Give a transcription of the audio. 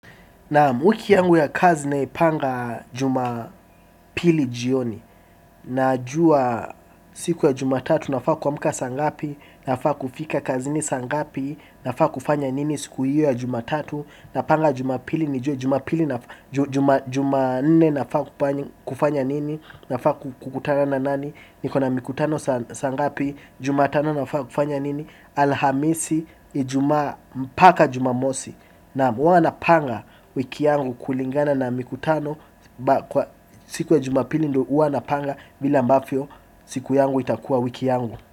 Nam wiki yangu ya kazi naipanga jumapili jioni. Najua siku ya jumatatu nafaa kuamka sangapi nafaa kufika kazini sangapi nafaa kufanya nini siku hiyo ya jumatatu na panga jumapili nijue jumapili nafaa kufanya nini nafaa kukutana na nani niko na mikutano sangapi jumatano nafaa kufanya nini alhamisi ijumaa mpaka jumamosi. Nam huwa napanga wiki yangu kulingana na mikutano. Siku ya jumapili ndo huwa napanga vile ambavyo siku yangu itakua wiki yangu.